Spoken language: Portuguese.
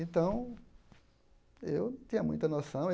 Então, eu não tinha muita noção.